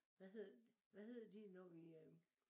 Hvad hedder hvad hedder det når vi øh